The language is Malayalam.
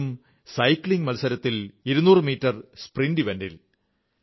അതും സൈക്ലിംഗ് മത്സരത്തിൽ 200 മീറ്റർ സ്പ്രിന്റ് ഇവന്റിൽ